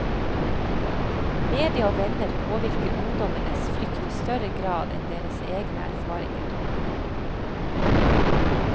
Media og venner påvirker ungdommenes frykt i større grad enn deres egne erfaringer.